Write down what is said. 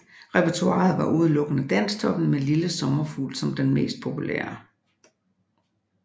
Repertoiret var udelukkende Dansktoppen med Lille sommerfugl som den mest populære